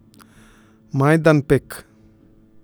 Majdanpek.